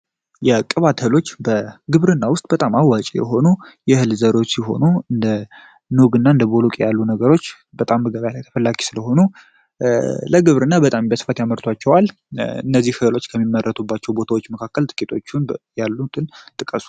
የቅባት በግብርና ውስጥ በጣም አዋቂ የሆኑ የእህል ዘሮች የሆኑ እንደ ቦሎቄ ያሉ ነገሮች ስለሆኑ ለግብርና ምርቶች ከሚመረጡባቸው ቦታዎች መካከል ጥቂቶቹን ያሉትን ጥቀሱ።